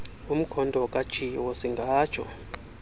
umkhonto katshiwo siingatsho